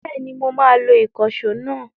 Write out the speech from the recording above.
Bẹ́ẹ̀ni mo máa lo ìkànṣó náà?